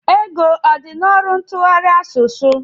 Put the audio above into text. Ego ọ dị n'ọrụ ntụgharị asụsụ?